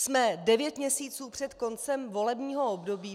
Jsme devět měsíců před koncem volebního období.